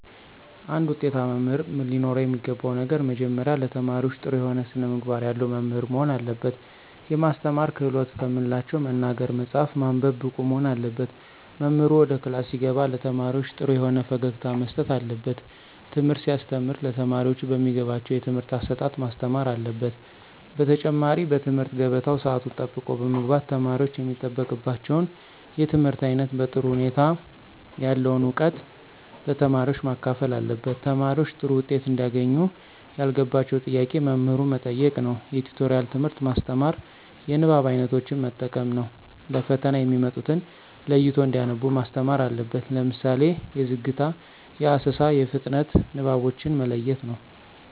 አንድ ውጤታማ መምህር ለኖረው የሚገባው ነገር መጀመሪያ ለተማሪዎች ጥሩ የሆነ ስነምግባር ያለው መምህር መሆን አለበት። የማስተማር ክህሎትን ከምንላቸው መናገር፣ መፃፍ፣ ማንበብ ብቁ መሆን አለበት። መምህሩ ወደ ክላስ ሲገባ ለተማሪዎች ጥሩ የሆነ ፈገግታ መስጠት አለበት። ትምህርት ሲያስተም ለተማሪዎቹ በሚገባቸው የትምህርት አሰጣጥ ማስተማር አለበት። በተጨማሪ በትምህርት ገበታው ሰአቱን ጠብቆ በመግባት ተማሪወች የሚጠበቅባቸውን የትምህርት አይነት በጥሩ ሁኔታ ያለውን እውቀት ለተማሪዎች ማካፈል አለበት። ተማሪዎች ጥሩ ዉጤት እንዲያገኙ ያልገባቸውን ጥያቄ መምህሩ መጠየቅ ነዉ። የቲቶሪያል ትምህርት ማስተማር። የንባብ አይነቶችን መጠቀም ነው። ለፈተና የሚመጡትን ለይቶ እንዲያነቡ ማስተማር አለበት። ለምሳሌ የዝግታ፣ የአሰሳ፣ የፍጥነት ንባቦችን መለየት ነው።